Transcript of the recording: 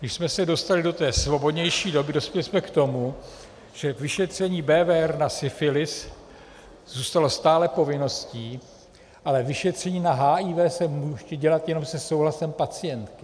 Když jsme se dostali do té svobodnější doby, dospěli jsme k tomu, že vyšetření BWR na syfilis zůstalo stále povinností, ale vyšetření na HIV se může dělat jenom se souhlasem pacientky.